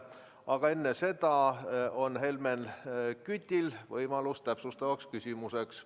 Aga enne seda on Helmen Kütil võimalust täpsustavaks küsimuseks.